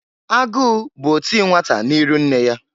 Agụụ bụ oti nnwata n'iru nne ya.